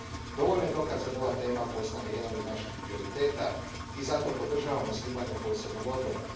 Dovoljno je dokaza da ova tema postane jedan od naših prioriteta i zato podržavam osnivanje posebnog odbora.